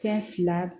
Fɛn fila